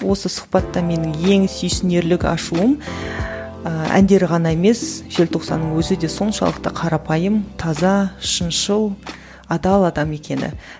осы сұхбатта менің ең сүйсінерлік ашуым ыыы әндері ғана емес желтоқсанның өзі де соншалықты қарапайым таза шыншыл адал адам екені